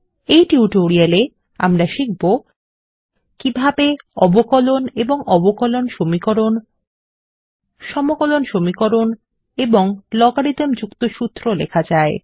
এই টিউটোরিয়ালে আমরা শিখব কিভাবে অবকলন এবং অবকলন সমীকরণ সমকলন সমীকরণ এবং লগারিদম যুক্ত সূত্র লেখা যায়